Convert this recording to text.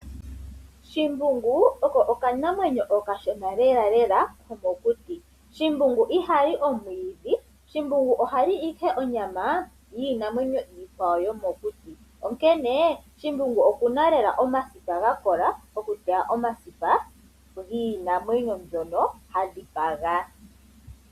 Shimbungu oko okanamwenyo okashona lela lela komokiti. Shimbungu ohali omwiidhi, shimbungu oha li ihe onyama yiinamwenyo iikwawo yomokuti, onkene shimbungu okuna lela omasipa gakola okulya omasipa ginamwenyo mbyoka hadhi paga.